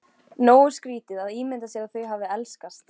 Nógu skrítið að ímynda sér að þau hafi elskast.